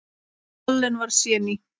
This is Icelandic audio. Allen var séní.